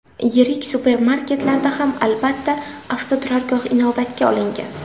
Yirik supermarketlarda ham albatta, avtoturargoh inobatga olingan.